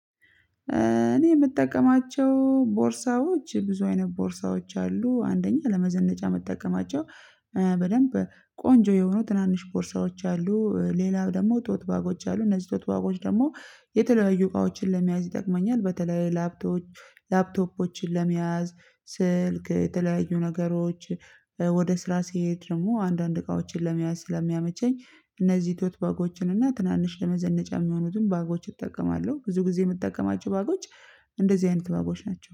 እኔ የምጠቀማቸው ቦርሳዎች ብዙ አይነት ቦርሳዎች አሉ አንደኛ ለመዘነጫ የምጠቀማቸው በደንብ ቆንጆ የሆኑ ትናንሽ ፖርሻዎች አሉ ሌላው ደግሞ ጦት ባጎች አሉ እነዚህ ጦት ደግሞ የተለያዩ እቃዎችን ለመያዝ ይጠቅመኛል። በተለይ ላፕቶፖች ላፕቶፖችን ለመያዝ ስልክ የተለያዩ ነገሮች ወደ ስራ ሲሄድ ደግሞ አንዳንድ እቃዎችን ለመያዝ ስለሚያመቸኝ። እነዚህ ቶት ባጎችን እና ትናንሽ ለመዘነጫ የሚሆኑትን ባጎች እጠቀማለሁ። ብዙ ጊዜ የምጠቀማቸው ባጎች እንደዚህ አይነት ባጎች ናቸው